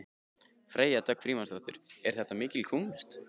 Freyja Dögg Frímannsdóttir: Er þetta mikil kúnst?